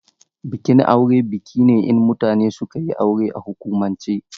Bikin aure biki ne in mutane suka yi aure a hukumance.